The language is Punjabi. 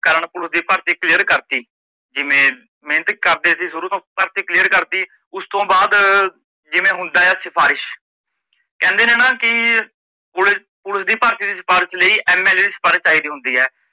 ਕਰਣ ਕੂਰ ਦੀ ਭਰਤੀ clear ਕਰਤੀ ਜਿਵੇਂ ਮਿਹਨਤ ਕਰਦੇ ਸੀ ਸੁਰੂ ਤੋਂ ਭਰਤੀ clear ਕਰਦੀ ਉਸ ਤੋਂ ਬਾਦ ਜਿਵੇਂ ਹੁੰਦਾ ਆ ਸਿਫ਼ਾਰਿਸ਼ ਕਹਿੰਦੇ ਨੇ ਨਾਂ ਕੀ police ਦੀ ਭਰਤੀ ਦੀ ਸਿਫ਼ਾਰਿਸ਼ ਲਈ MLA ਦੀ ਸਿਫ਼ਾਰਿਸ਼ ਚਾਹੀਦੀ ਹੁੰਦੀ ਹੈ।